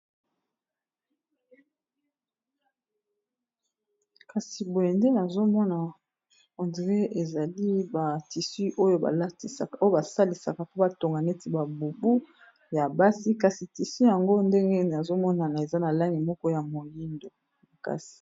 kasi boyende azomona hondre ezali ba tisu oyo blatisaoyo basalisaka po batonga neti babubu ya basi kasi tisu yango ndenge ee azomonana eza na lani moko ya moindo makasi